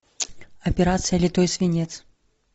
операция литой свинец